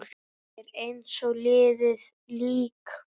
Er eins og liðið lík.